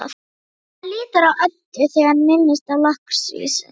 Hann lítur á Eddu þegar hann minnist á lakkrísinn.